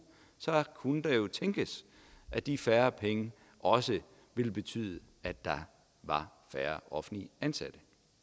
kunne det jo tænkes at de færre penge også ville betyde at der var færre offentligt ansatte